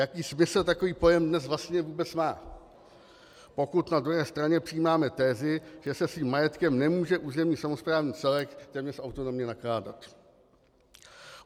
Jaký smysl takový pojem dnes vlastně vůbec má, pokud na druhé straně přijímáme tezi, že se svým majetkem nemůže územní samosprávný celek téměř autonomně nakládat?